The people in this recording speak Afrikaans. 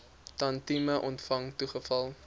tantième ontvang toegeval